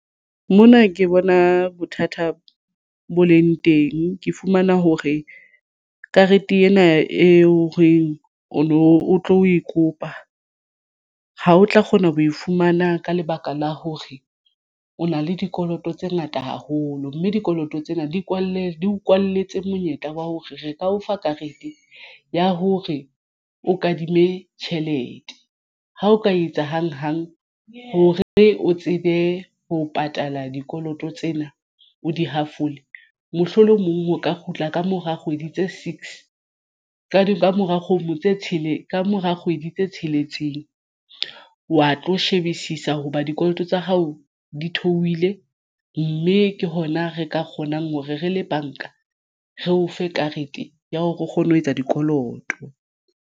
Mona ke bona bothata bo leng teng. Ke fumana hore karete ena e o reng o no o tlo e kopa ha o tla kgona ho e fumana ka lebaka la hore o na le dikoloto tse ngata haholo mme dikoloto tsena di kwalletswe o kwalletswe monyetla wa hore re ka o fa karete ya ho re o kadime tjhelete ha o ka etsa hang hang hore o tsebe ho patala dikoloto tsena o di hafole mohlolomong o ka kgutla kamora kgwedi tse six ka ka mora kgomo tse tshele ka mora kgwedi tse tsheletseng wa tlo shebisisa hoba dikoloto tsa hao di theohile mme ke hona re ka kgonang hore re le banka re o fe karete ya hore o kgone ho etsa dikoloto.